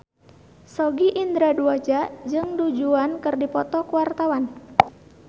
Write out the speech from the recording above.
Sogi Indra Duaja jeung Du Juan keur dipoto ku wartawan